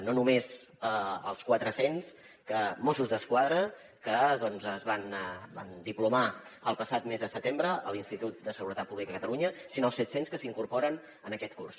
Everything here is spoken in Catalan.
no només els quatre cents mossos d’esquadra que doncs es van diplomar el passat mes de setembre a l’institut de seguretat pública de catalunya sinó els set cents que s’incorporen en aquest curs